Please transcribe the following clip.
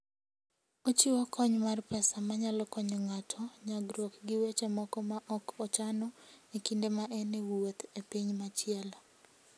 Ochiwo kony mar pesa manyalo konyo ng'ato nyagruok gi weche moko ma ok ochano e kinde ma en e wuoth e piny machielo.